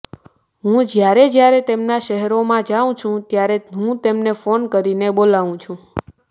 હું જયારે જયારે તેમનાં શહેરોમાં જાઉં છું ત્યારે હું તેમને ફોન કરીને બોલાવું છું